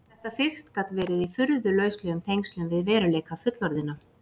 Þetta fikt gat verið í furðu lauslegum tengslum við veruleika fullorðinna.